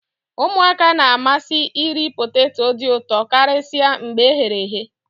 ụmụaka na-amasị iri poteto dị ụtọ karịsịa mgbe e ghere eghe